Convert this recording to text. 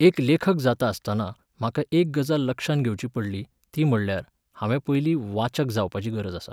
एक लेखक जाता आसताना म्हाका एक गजाल लक्षांत घेवचीं पडली, ती म्हटल्यार, हांवें पयलीं वाचक जावपाची गरज आसा